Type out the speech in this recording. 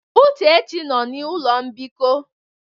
Uchechi nnọ n'ụlọ mbikọ.